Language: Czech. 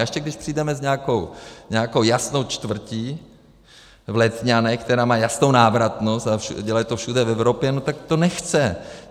A ještě když přijdeme s nějakou jasnou čtvrtí v Letňanech, která má jasnou návratnost, a dělají to všude v Evropě, tak to nechce.